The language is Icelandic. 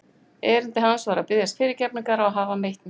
Erindi hans var að biðjast fyrirgefningar á að hafa meitt mig.